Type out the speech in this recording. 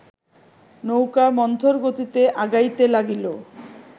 নৌকা মন্থরগতিতে আগাইতে লাগিল